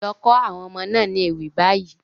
Lọ kọ́ àwọn ọmọ náà ní ewì báyìí.